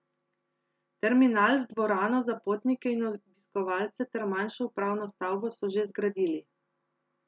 Terminal z dvorano za potnike in obiskovalce ter manjšo upravno stavbo so že zgradili.